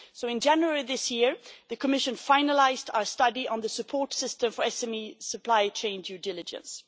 In January this year, the Commission finalised our study on the support system for SME supply chain due diligence.